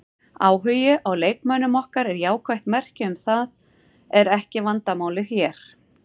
Áhugi á leikmönnum okkar er jákvætt merki en það er ekki vandamálið hér.